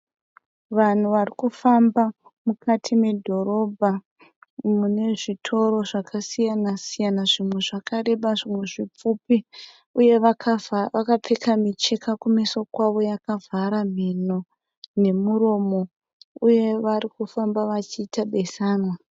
Vanhu vari kufamba mukati medhorobha mune zvitoro zvakasiyana-siyana. Zvimwe zvakareba zvimwe zvipfupi uye vakapfeka micheka kumeso kwavo yakavhara mhinho nemuromo uye vari kufamba vachiita besanwa.